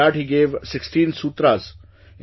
And in that he gave 16 sutras